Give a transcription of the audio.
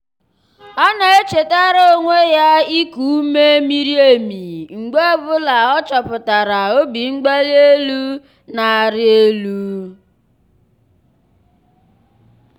ọ na-echetara onwe ya iku ume miri emi mgbe ọ bụla ọ chọpụtara obimgbalienu na-arị elu.